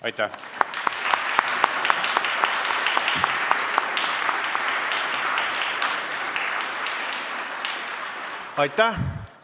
Aitäh!